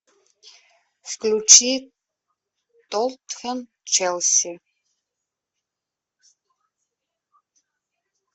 включи тоттенхэм челси